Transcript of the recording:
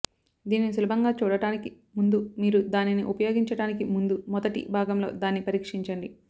దీనిని సులభంగా చూడడానికి ముందు మీరు దానిని ఉపయోగించటానికి ముందు మొదటి భాగంలో దాన్ని పరీక్షించండి